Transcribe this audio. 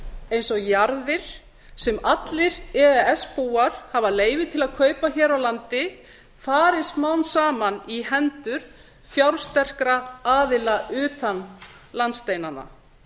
eins og jarðir sem allir e e s búar hafa leyfi til að kaupa hér á landi fari smám saman í hendur fjársterkra aðila utan landsteinanna